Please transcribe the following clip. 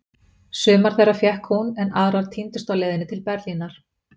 Sumar þeirra fékk hún, en aðrar týndust á leiðinni til Berlínar.